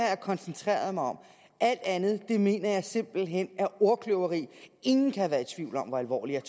jeg koncentreret mig om alt andet mener jeg simpelt hen er ordkløveri ingen kan have været i tvivl om hvor alvorligt